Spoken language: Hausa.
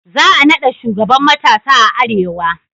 Za a naɗa shugaban matasa a arewa